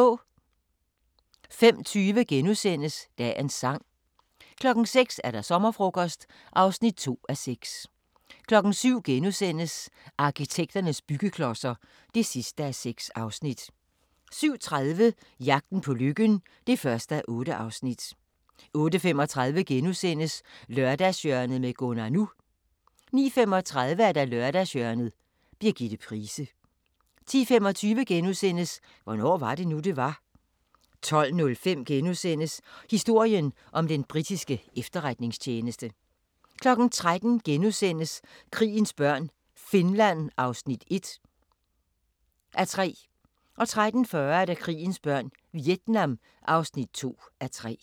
05:20: Dagens Sang * 06:00: Sommerfrokost (2:6) 07:00: Arkitekternes byggeklodser (6:6)* 07:30: Jagten på lykken (1:8) 08:35: Lørdagshjørnet med Gunnar NU * 09:35: Lørdagshjørnet – Birgitte Price 10:25: Hvornår var det nu, det var? * 12:05: Historien om den britiske efterretningstjeneste * 13:00: Krigens børn - Finland (1:3)* 13:40: Krigens børn – Vietnam (2:3)